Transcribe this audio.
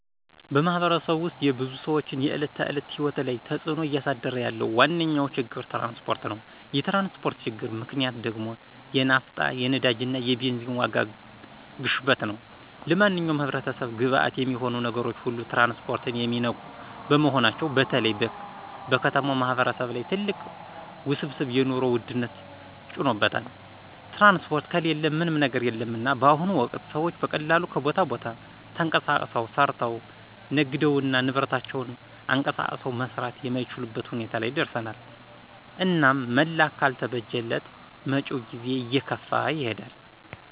በማህበረሰቡ ውስጥ የብዙ ሰዎችን የዕለት ተዕለት ሕይወት ላይ ተፅዕኖ እያሳደረ ያለው ዋነኛው ችግር ትራንስፖርት ነው። የትራንስፖርት ችግር ምክንያት ደግሞ የናፍታ፣ የነዳጅና የቤዚን ዋጋ ግሽበት ነው። ለማንኛውም ህብረተሰብ ግብዓት የሚሆኑ ነገሮች ሁሉ ትራንስፖርትን የሚነኩ በመሆናቸው በተለይ በከተማው ማህበረሰብ ላይ ትልቅ ውስብስብ የኑሮ ውድነት ጭኖበታል። ትራንስፖርት ከሌለ ምንም ነገር የለምና በአሁኑ ወቅት ሰዎች በቀላሉ ከቦታ ቦታ ተንቀሳቅሰው፣ ሰርተው፣ ነግደውና ንብረታቸውን አንቀሳቅሰው መስራት የማይቻልበት ሁኔታ ላይ ደርሰናል። እናም መላ ካልተበጀለት መጭው ጊዜ እየከፋ ይሄዳል።